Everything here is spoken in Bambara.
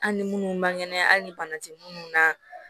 Hali ni minnu man kɛnɛ hali ni bana tɛ minnu na